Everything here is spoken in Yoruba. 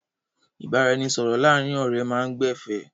Ìbáranisọ̀rọ̀ láàárin ọ̀rẹ́ máa ń gbẹ̀fẹ̀.